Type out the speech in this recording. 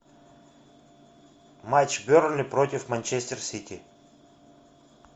матч бернли против манчестер сити